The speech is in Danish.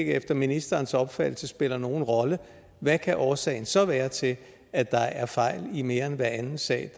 efter ministerens opfattelse spiller nogen rolle hvad kan årsagen så være til at der er fejl i mere end hver anden sag